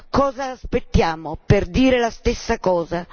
Cosa aspettiamo per dire la stessa cosa?